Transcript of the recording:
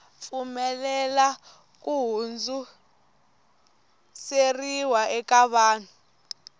pfumelela ku hundziseriwa ka vun